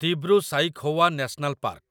Dibru Saikhowa national park